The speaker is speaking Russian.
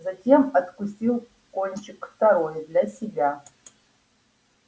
затем откусил кончик второй для себя